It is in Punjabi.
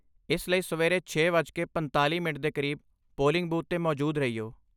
ਇਸ ਲਈ ਸਵੇਰੇ ਛੇ ਵੱਜ ਕੇ ਪੰਤਾਲ਼ੀ ਮਿੰਟ ਦੇ ਕਰੀਬ ਪੋਲਿੰਗ ਬੂਥ 'ਤੇ ਮੌਜੂਦ ਰਹੀਓ